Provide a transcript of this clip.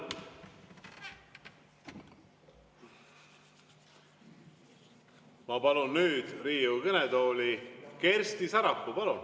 Ma palun nüüd Riigikogu kõnetooli Kersti Sarapuu.